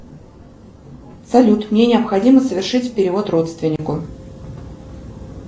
салют мне необходимо совершить перевод родственнику